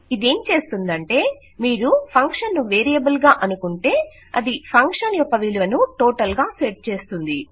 ఇదేం చేస్తుందంటే మీరు ఫంక్షన్ ను వేరియబుల్ గా అనుకుంటే అది ఫంక్షన్ యొక్క విలువను టోటల్ గా సెట్ చేస్తుంది